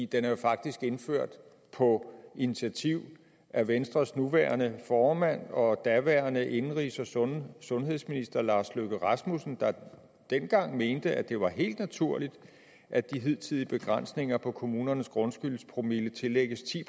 den blev faktisk indført på initiativ af venstres nuværende formand og daværende indenrigs og sundhedsminister herre lars løkke rasmussen der dengang mente at det var helt naturligt at de hidtidige begrænsninger på kommunernes grundskyldspromille tillægges ti